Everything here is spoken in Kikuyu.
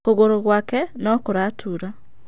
Kũgũrũ gwake no gũratura.